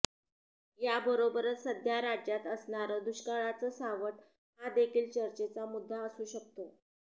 याबरोबरच सध्या राज्यात असणारं दुष्काळाचं सावट हा देखील चर्चेचा मुद्दा असू शकतो